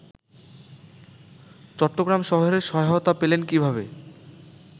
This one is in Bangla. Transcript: চট্টগ্রাম শহরের সহায়তা পেলেন কীভাবে